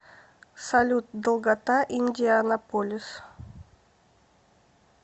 салют долгота индианаполис